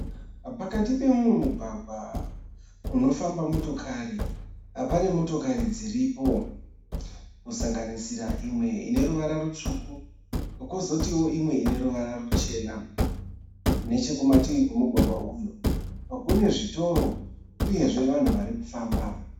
Pakati pemumwe mugwagwa unofamba motokari. Pane motokari dziripo kusanganisira imwe ine ruvara rutsvuku kozotio imwe ine ruvara ruchena. Nechekumativi kwemugwagwa uyu kune zvitoro uyezve vanhu varikufamba.